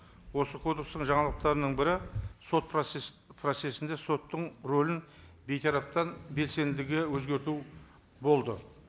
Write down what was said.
осы кодекстің жаңалықтарының бірі сот процесс процессінде соттың рөлін бейтараптан белсенділігі өзгерту болды